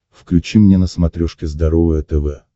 включи мне на смотрешке здоровое тв